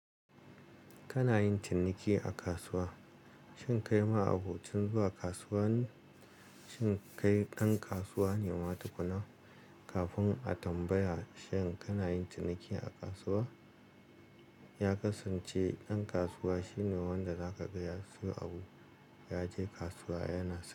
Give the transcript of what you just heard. Kana yin ciniki a kasuwa. Shin kai ma'abocin zuwa kasuwa ne? Shin kai ɗan kasuwa ne ma tukunna? Shin kai ma abocin zuwa kasuwa ne? Shin kai ɗan kasuwa ne ma tukunna? Kafin a tambaya shin kana yin ciniki a kasuwa, ya kasance ɗan kasuwa shine wanda zaka ga ya sai abu.